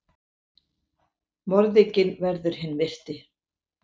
Morðinginn verður hinn myrti.